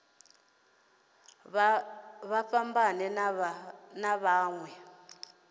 vha fhambane na vha mawe